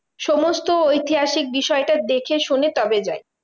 সমস্ত ঐতিহাসিক বিষয়টা দেখে শুনে তবে যায়।